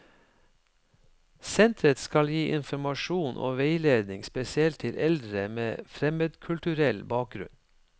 Senteret skal gi informasjon og veiledning spesielt til eldre med fremmedkulturell bakgrunn.